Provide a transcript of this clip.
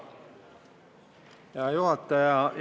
Hea juhataja!